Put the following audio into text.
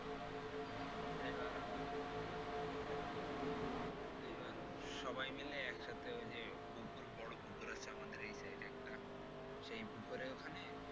এইবার সবাই মিলে একসাথে ওই যে পুকুর বড় পুকুর আছে আমাদের এই side এ একটা সেই পুকুরের ওখানে